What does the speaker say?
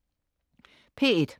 P1: